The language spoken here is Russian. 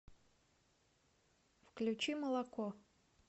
включи молоко